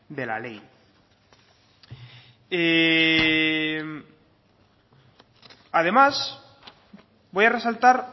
de la ley además voy a resaltar